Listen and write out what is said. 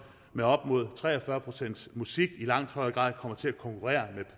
med op mod tre og fyrre pcts musik i langt højere grad kommer til at konkurrere med